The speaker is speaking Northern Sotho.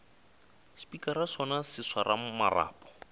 spikara sona se swara marapo